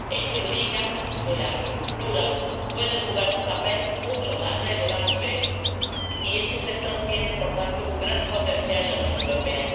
Esto indica que la acuicultura puede jugar un papel mucho más relevante, y este sector tiene, por tanto, un gran potencial en la Unión Europea.